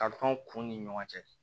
Kalifaw kun ni ɲɔgɔn cɛ